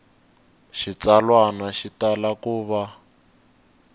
xitsalwana xi tala ku va